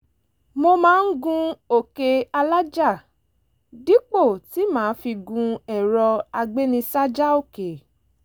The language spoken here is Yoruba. mo máa ń gun òkè alájà dípò tí màá fi gun ẹ̀rọ agbénisájà òkè